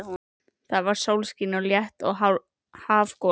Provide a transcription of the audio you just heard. Það var sólskin og létt hafgola.